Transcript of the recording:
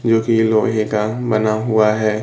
क्योंकि ये लोहे का बना हुआ है।